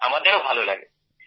আমাদেরও ভালো লাগে স্যার